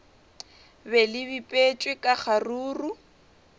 be le bipetšwe ka kgaruru